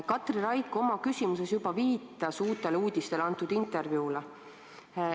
Katri Raik oma küsimuses juba viitas Uutele Uudistele antud intervjuule.